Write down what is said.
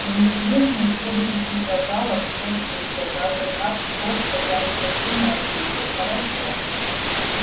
неизвестный следовавший за гаалом все слышал даже как тот садясь в машину ответил хорошо